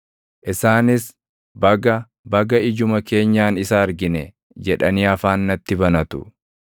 Isaanis, “Baga! Baga! Ijuma keenyaan isa argine” jedhanii afaan natti banatu.